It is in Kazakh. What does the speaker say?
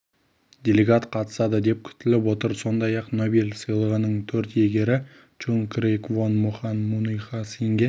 делегат қатысады деп күтіліп отыр сондай-ақ нобель сыйлығының төрт иегері чунг рэй квон мохан мунасингхе